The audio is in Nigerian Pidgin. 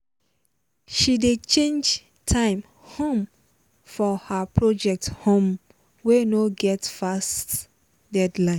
she dey change time um for her project um wey no get fast deadline